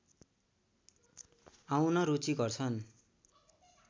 आउन रुचि गर्छन्